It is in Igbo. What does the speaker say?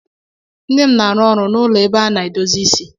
Nne m na-arụ ọrụ n'ụlọ ebe a na-edozi isi